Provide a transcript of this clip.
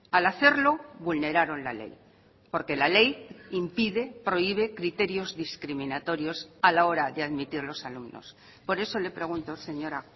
al hacerlo vulneraron la ley porque la ley impide prohíbe criterios discriminatorios a la hora de admitir los alumnos por eso le pregunto señora